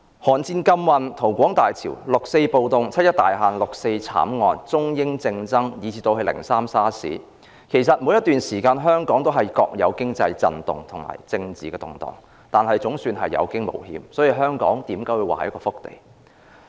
韓戰禁運、逃港大潮、六四暴動、七一大限、六四慘案、中英政爭以至"零三 SARS"， 其實香港在每段時間都各有其經濟震動及政治動盪，但總算有驚無險，所以人們說香港是一塊福地。